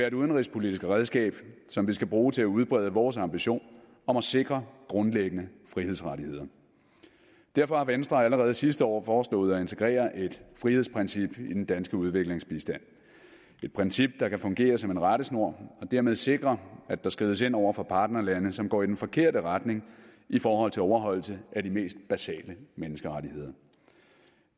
et udenrigspolitisk redskab som vi skal bruge til at udbrede vores ambition om at sikre grundlæggende frihedsrettigheder derfor har venstre allerede sidste år foreslået at integrere et frihedsprincip i den danske udviklingsbistand et princip der kan fungere som en rettesnor og dermed sikre at der skrides ind over for partnerlande som går i den forkerte retning i forhold til overholdelse af de mest basale menneskerettigheder